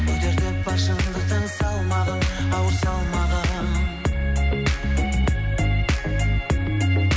көтертіп бар шындықтың салмағын ауыр салмағын